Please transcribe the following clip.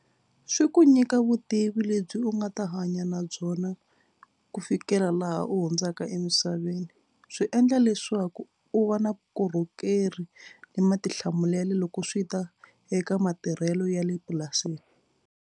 Swi ku nyika vutivi lebyi u nga ta hanya na byona ku fikela laha u hundzaka emisaveni. Swi endla leswaku u va na vukorhokeri ni matihlamulelo loko swi ta eka matirhelo ya le purasini.